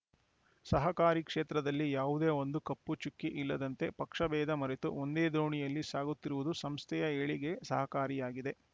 ಸಹಕಾರಿ ಕ್ಷೇತ್ರದಲ್ಲಿ ಯಾವದೇ ಒಂದು ಕಪ್ಪು ಚುಕ್ಕಿ ಇಲ್ಲದಂತೆ ಪಕ್ಷಭೇದ ಮರೆತು ಒಂದೇ ದೋಣಿಯಲ್ಲಿ ಸಾಗುತ್ತಿರುವುದು ಸಂಸ್ಥೆಯ ಏಳಿಗೆ ಸಹಕಾರಿಯಾಗಿದೆ